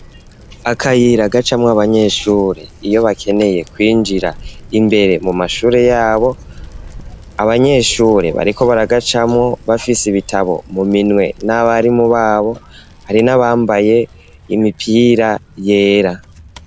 Akayira gacamwo abanyeshure iyo bakeneye kwinjira imbere mu mashure yabo, abanyeshure bariko baragacamwo bafise ibitabo mu minwe n'abarimu babo, hari n'abambaye imipira yera.